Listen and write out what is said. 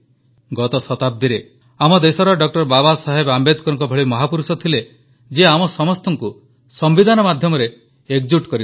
ଗତ ଶତାବ୍ଦୀରେ ଆମ ଦେଶରେ ଡ ବାବାସାହେବ ଆମ୍ବେଦକରଙ୍କ ଭଳି ମହାପୁରୁଷ ଥିଲେ ଯିଏ ଆମ ସମସ୍ତଙ୍କୁ ସମ୍ବିଧାନ ମାଧ୍ୟମରେ ଏକଜୁଟ କରିଥିଲେ